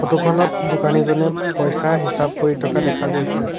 Photo খনত দোকানীজনে পইছা হিচাপ কৰি থকা দেখা গৈছে।